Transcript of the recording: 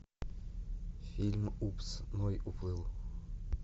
фильм упс ной уплыл